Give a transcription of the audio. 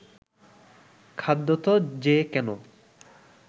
খদ্যোত যে কেন